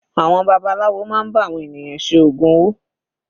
Àwọn babaláwo máa ń bá àwọn ènìyàn ṣe ògùn owó.